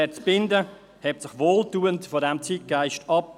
Herr Zbinden hebt sich wohltuend von diesem Zeitgeist ab.